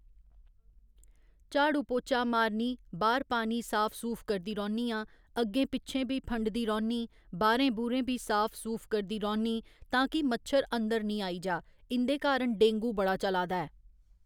झाड़ू पोचा मारनी बाहर पानी साफ सूफ करदी रौह्‍‌नियां अग्गें पिच्छें बी फंडदी रौह्‌नियां बाहरें बूहरें बी साफ सूफ करदी रौह्‌नी तां कि मच्छर अंदर नी आई जा इं'दे कारण डेंगू बड़ा चला दा ऐ